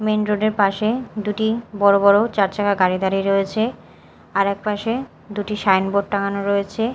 Main road -এর পাশে দুটি বড় বড় চার চাকা গাড়ি দাঁড়িয়ে রয়েছে আর এক পাশে দুটি সাইনবোর্ড টাঙানো রয়েছে।